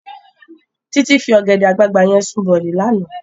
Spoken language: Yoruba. Titi fi ògèdè àgbágbá yèn sún bòlí làná